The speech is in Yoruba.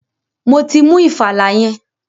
Mo ti mú ìfàlà yẹn.